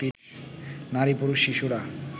নারী, পুরুষ, শিশুরা